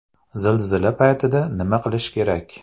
Zilzila paytida nima qilish kerak?.